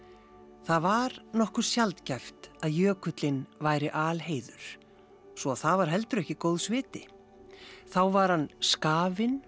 það var nokkuð sjaldgæft að jökullinn væri alheiður svo að það var heldur ekki góðs viti þá var hann skafinn